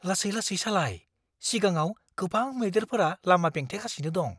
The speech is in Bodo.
लासै-लासै सालाय। सिगाङाव गोबां मैदेरफोरा लामा बेंथेगासिनो दं।